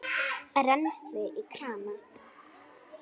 Rennsli í krana!